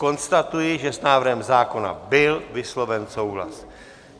Konstatuji, že s návrhem zákona byl vysloven souhlas.